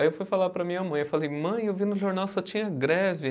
Aí eu fui falar para a minha mãe, eu falei, mãe, eu vi no jornal só tinha greve.